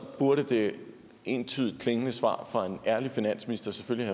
burde det entydigt klingende svar fra en ærlig finansminister selvfølgelig